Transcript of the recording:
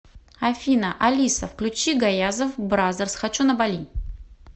афина алиса включи гаязов бразерс хочу на бали